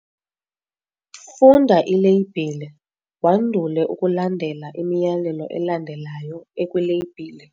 Funda ileyibhile wandule ukulandela imiyalelo elandelayo ekwileyibhile.